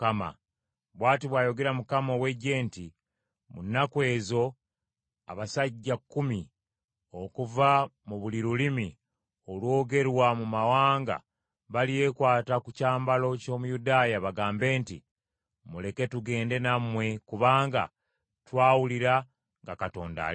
Bw’ati bw’ayogera Mukama ow’Eggye nti, “Mu nnaku ezo abasajja kkumi okuva mu buli lulimi olwogerwa mu mawanga balyekwata ku kyambalo ky’Omuyudaaya bagambe nti, ‘Muleke tugende nammwe kubanga twawulira nga Katonda ali nammwe.’ ”